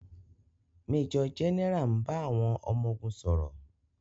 Méjọ̀ gẹ́nẹrà ń bá àwọn ọmọ ogun sọ̀rọ̀.